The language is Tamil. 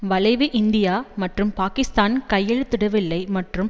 விளைவு இந்தியா மற்றும் பாக்கிஸ்தான் கையெழுத்திடவில்லை மற்றும்